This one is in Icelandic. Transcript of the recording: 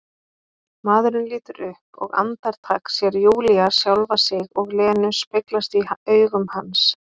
Maðurinn lítur upp og andartak sér Júlía sjálfa sig og Lenu speglast í augum hans.